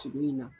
Sigi in na